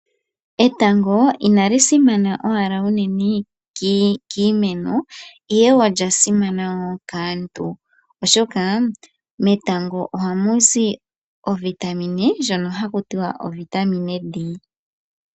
Etango inalisimana owala uunene kiimeno ihe olya simana wo kaantu oshoka metango ohamu zi ovitamine ndjono hakutiwa ovitamine D.